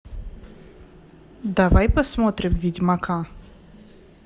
давай посмотрим ведьмака